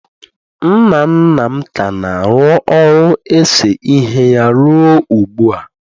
nna nna m ka na-arụ ọrụ ese ihe ya ruo ugbu a